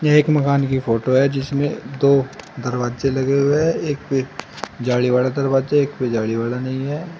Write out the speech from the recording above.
एक मकान की फोटो है जिसमें दो दरवाजे लगे हुए है एक पे जाली वाला दरवाजा है एक पे जाली वाला नहीं है।